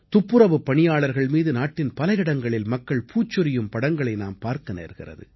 துப்புரவுப் பணியாளர்கள் மீது நாட்டின் பல இடங்களில் மக்கள் பூச்சொரியும் படங்களை நாம் பார்க்க நேர்கிறது